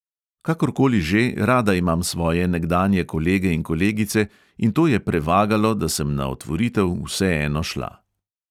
Kakor koli že, rada imam svoje nekdanje kolege in kolegice in to je prevagalo, da sem na otvoritev vseeno šla.